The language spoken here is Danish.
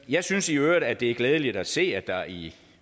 jeg synes i øvrigt at det er glædeligt at se at der i